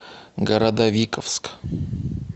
городовиковск